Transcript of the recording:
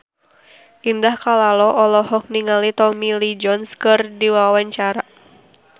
Indah Kalalo olohok ningali Tommy Lee Jones keur diwawancara